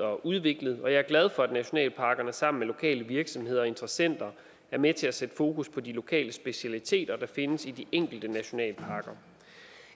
og udviklet og jeg er glad for at nationalparkerne sammen med lokale virksomheder og interessenter er med til at sætte fokus på de lokale specialiteter der findes i de enkelte nationalparker